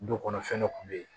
Du kɔnɔ fɛn dɔ kun bɛ ye